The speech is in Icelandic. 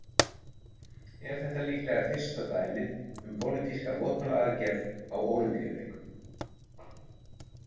Er þetta líklega fyrsta dæmið um pólitíska mótmælaaðgerð á Ólympíuleikum.